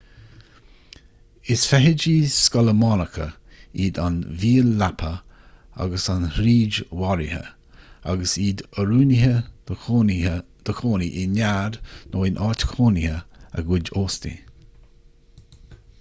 is feithidí scolamánacha iad an mhíol leapa agus an fhríd mharaithe agus iad oiriúnaithe do chónaí i nead nó in áit chónaithe a gcuid óstaigh